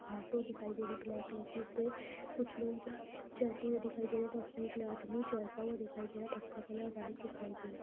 Auto दिखाई दे रही है ब्लैक कलर की इस पे कुछ लोग जाते हुए दिखाई दे रहे हैं। बस में एक आदमी चढ़ता हुआ दिखाई दे रहा बस का कलर व्हाइट दिखाई दे --